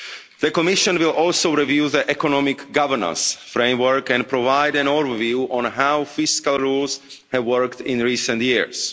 The Commission will also review that economic governance framework and provide an overview on how fiscal rules have worked in recent years.